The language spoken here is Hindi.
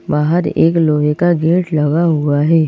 बाहर एक लोहे का गेट लगा हुआ है।